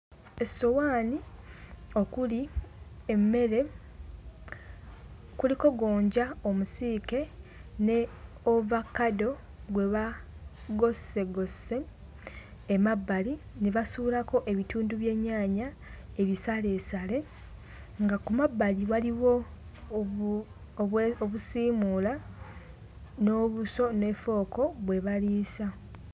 Essowaani okuli emmere kuliko gonja omusiike ne ovakkado gwe baagossegosse emabbali ne basuulako ebitundu by'ennyaanya ebisaleesale nga kumabbali waliwo obu obwe obusiimuula n'obuso ne fooko bwe baliisa.